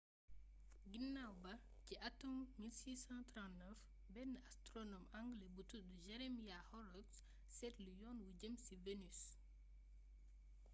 ginaaw ba ci atum 1639 benn astronome anglais bu toddu jeremiah horrocks seetlu yoon wu jëm ci vénus